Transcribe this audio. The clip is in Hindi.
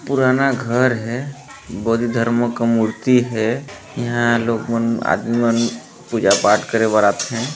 पुराना घर हे बुद्ध धर्मों का मूर्ति है यहाँ लोग मन आदमी मन पूजा पाठ करे बर आथे।